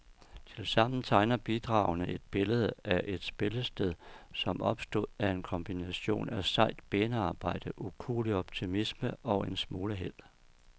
Tilsammen tegner bidragene et billede af et spillested, som opstod af en kombination af sejt benarbejde, ukuelig optimisme og en smule held.